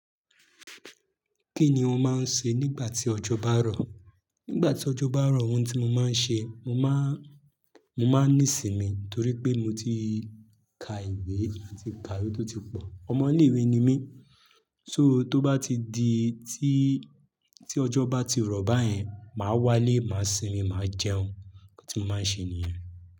Kí ni ò máa ń ṣe nígbà tí ọjọ́ bá rọ̀? Nígbà tí ọjọ́ bá rọ̀, ohun tí mo máa ń ṣe, mo má ń, mo má ń nísìmí torí pé mo ti ka ìwé mo ti ka iwe tó ti pọ̀. Ọ̀mọ̀lé ìwé ni mí. So tó bá ti di tí, tí ọjọ́ bá ti rọ̀ báyẹn, màá wá lé, màá sinmi, màá jẹun. Nkan tí mo máa n ṣe nìyen.